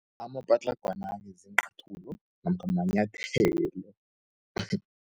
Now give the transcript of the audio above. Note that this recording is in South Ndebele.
Amapatlagwana-ke ziincathulo namkha manyathelo.